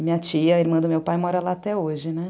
E minha tia, irmã do meu pai, mora lá até hoje, né?